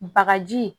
Bagaji